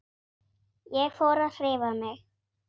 Ég fór að hreyfa mig.